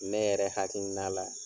Ne yɛrɛ hakilina la.